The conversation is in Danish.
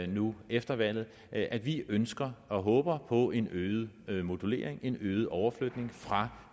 nu efter valget at vi ønsker og håber på en øget modulering en øget overflytning fra